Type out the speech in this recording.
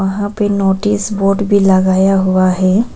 यहां पे notice board भी लगाया हुआ है।